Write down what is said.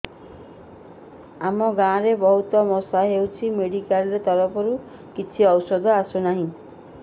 ଆମ ଗାଁ ରେ ବହୁତ ମଶା ହଉଚି ମେଡିକାଲ ତରଫରୁ କିଛି ଔଷଧ ନାହିଁ